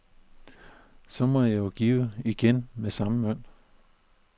Så må jeg jo give igen med samme mønt.